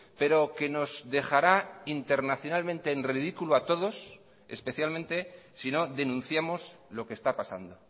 pero que nos dejará internacionalmente en ridículo a todos especialmente si no denunciamos lo que está pasando